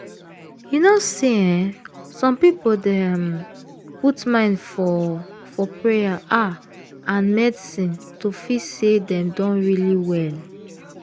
you know say eeh some people dey um put mind for for payer ah and medicine to feel say dem don really well.